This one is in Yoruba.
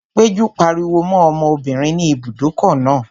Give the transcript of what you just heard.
Péjú pariwo mọ́ obìnrin ní ibùdókọ̀ náà